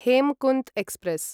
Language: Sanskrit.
हेमकुन्त् एक्स्प्रेस्